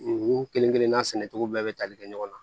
U kelen kelenna sɛnɛcogo bɛɛ bɛ tali kɛ ɲɔgɔn na